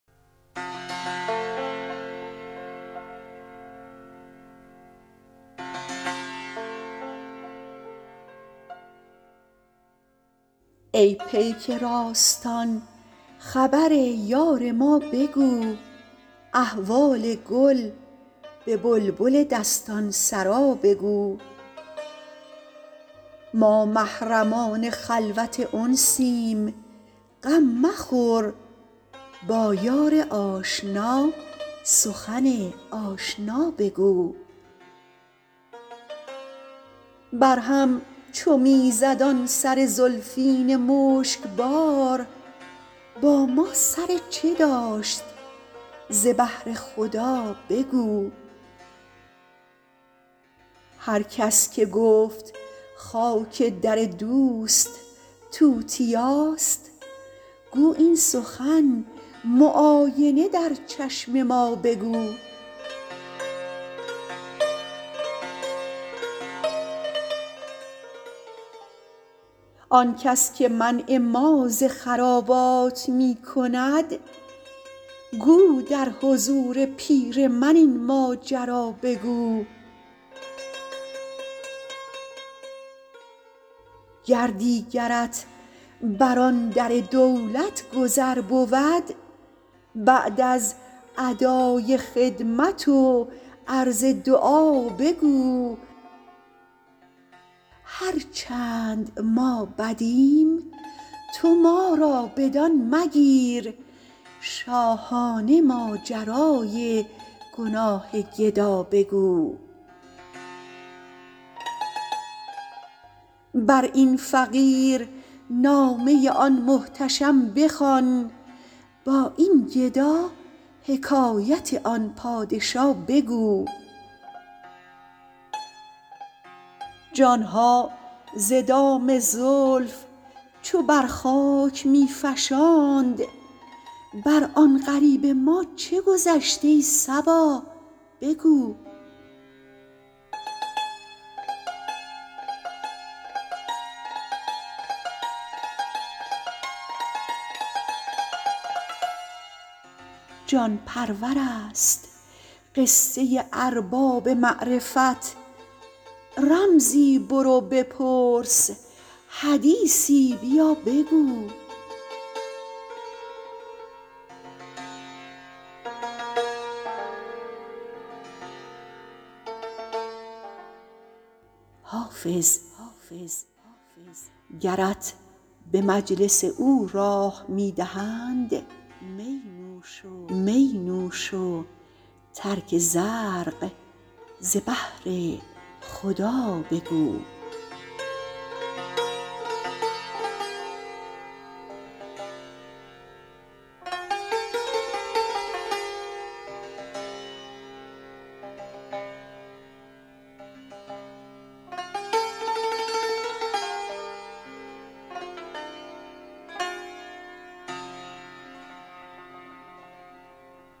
ای پیک راستان خبر یار ما بگو احوال گل به بلبل دستان سرا بگو ما محرمان خلوت انسیم غم مخور با یار آشنا سخن آشنا بگو بر هم چو می زد آن سر زلفین مشک بار با ما سر چه داشت ز بهر خدا بگو هر کس که گفت خاک در دوست توتیاست گو این سخن معاینه در چشم ما بگو آن کس که منع ما ز خرابات می کند گو در حضور پیر من این ماجرا بگو گر دیگرت بر آن در دولت گذر بود بعد از ادای خدمت و عرض دعا بگو هر چند ما بدیم تو ما را بدان مگیر شاهانه ماجرای گناه گدا بگو بر این فقیر نامه آن محتشم بخوان با این گدا حکایت آن پادشا بگو جان ها ز دام زلف چو بر خاک می فشاند بر آن غریب ما چه گذشت ای صبا بگو جان پرور است قصه ارباب معرفت رمزی برو بپرس حدیثی بیا بگو حافظ گرت به مجلس او راه می دهند می نوش و ترک زرق ز بهر خدا بگو